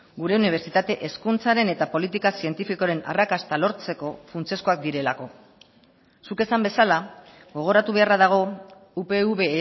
gure unibertsitate hezkuntzaren eta politika zientifikoaren arrakasta lortzeko funtsezkoak direlako zuk esan bezala gogoratu beharra dago upv